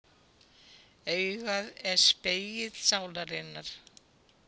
Augað er spegill sálarinnar.